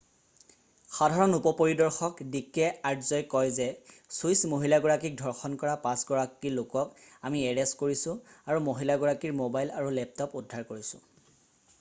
"সাধাৰণ উপ পৰিদৰ্শক ডিকে আৰ্যই কয় যে "ছুইচ মহিলাগৰাকীক ধৰ্যণ কৰা পাঁচ গৰাকী লোকক আমি এৰেষ্ট কৰিছোঁ আৰু মহিলাগৰাকীৰ মোবাইল আৰু লেপটপ উদ্ধাৰ কৰিছোঁ।""